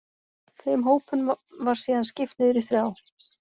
Þeim hópum var síðan skipt niður í þrjá.